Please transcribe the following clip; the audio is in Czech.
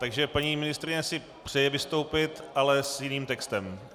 Takže paní ministryně si přeje vystoupit, ale s jiným textem.